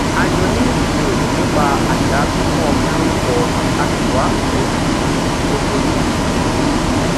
a jọ ní ìjíròrò nípa àṣà fífún ọmọ lórúkọ a sì wá ojútùú tó bójú mu